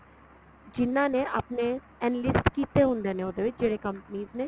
ਜਿਹਨਾ ਨੇ ਆਪਣੇ enlist ਕੀਤੇ ਹੁੰਦੇ ਨੇ ਉਹਦੇ ਵਿੱਚ ਜਿਹੜੇ companies ਨੇ